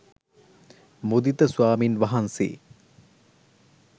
මුදිත ස්වාමින් වහන්සේ